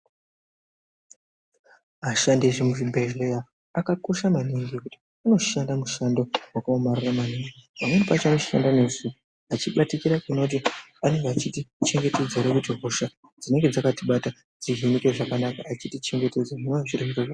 Ashandi ese emuzvibhedhleya akakosha maningi ngekuti anoshanda mushando vakaomarara maningi. Pamweni pacho anoshanda neusiku achibatikira kuona kuti anonga achitichengetedza kuti hosha dzinenge dzakatibata dzihinike zvakanaka. Etichengetedzwe zvinonga zviri zviro zvakanaka.